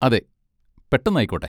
അതെ. പെട്ടെന്നായിക്കോട്ടെ.